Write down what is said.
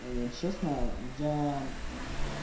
честно я